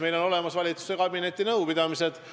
Meil on olemas valitsuskabineti nõupidamised.